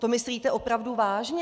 To myslíte opravdu vážně?